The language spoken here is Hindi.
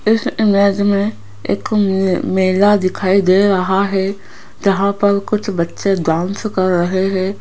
इस इमेज में एक म मेला दिखाई दे रहा है जहाँ पर कुछ बच्चे डांस कर रहे हैं।